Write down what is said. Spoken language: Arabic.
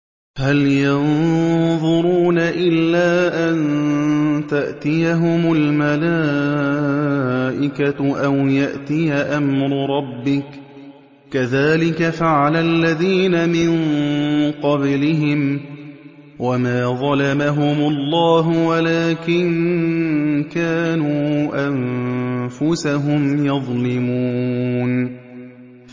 هَلْ يَنظُرُونَ إِلَّا أَن تَأْتِيَهُمُ الْمَلَائِكَةُ أَوْ يَأْتِيَ أَمْرُ رَبِّكَ ۚ كَذَٰلِكَ فَعَلَ الَّذِينَ مِن قَبْلِهِمْ ۚ وَمَا ظَلَمَهُمُ اللَّهُ وَلَٰكِن كَانُوا أَنفُسَهُمْ يَظْلِمُونَ